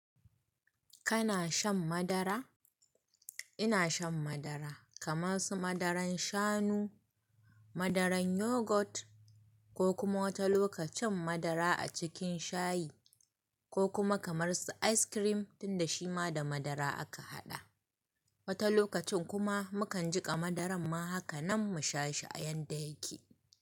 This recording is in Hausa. Kana shan madara? Ina shan madara kaman su madaran shanu, madaran yogurt ko kuma wata lokacin madara a cikin shayi ko kuma kamar su ice cream tunda shi ma da madara aka haɗa. Wata lokacin kuma mukan jiƙa madaran ma haka nan mu sha shi a yanda yake.